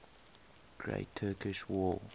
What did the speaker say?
great turkish war